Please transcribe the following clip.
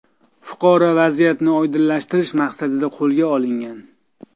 Fuqaro vaziyatni oydinlashtirish maqsadida qo‘lga olingan.